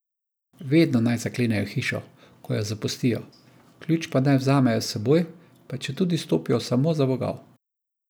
Vedno naj zaklenejo hišo, ko jo zapustijo, ključ pa naj vzamejo s seboj, pa četudi stopijo samo za vogal.